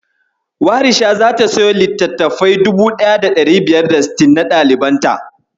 Warisha zata siyo littattafai 1560 na ɗalibanta.